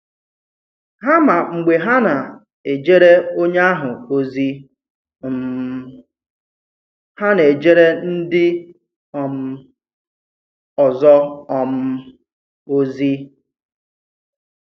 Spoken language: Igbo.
Hà mà mgbe hà na-èjere onye ahụ ozi um hà na-èjere ndị um ọzọ um ozi.